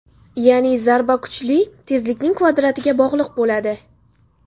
Ya’ni zarba kuchi tezlikning kvadratiga bog‘liq bo‘ladi.